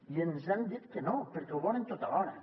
i ens han dit que no perquè ho volen tot alhora